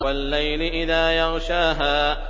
وَاللَّيْلِ إِذَا يَغْشَاهَا